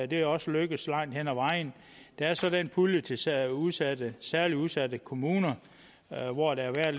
det er også lykkedes langt hen ad vejen der er så den pulje til særligt udsatte særligt udsatte kommuner hvor der